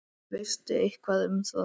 Veistu eitthvað um það?